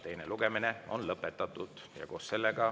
Teine lugemine on lõpetatud.